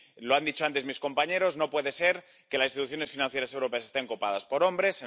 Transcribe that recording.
Mire —lo han dicho antes mis compañeros—, no puede ser que las instituciones financieras europeas estén copadas por hombres.